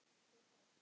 Hver þá?